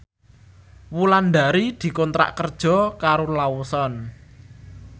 Wulandari dikontrak kerja karo Lawson